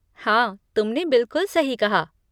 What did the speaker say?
हाँ, तुमने बिलकुल सही कहा।